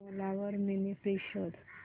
ओला वर mini fridge शोध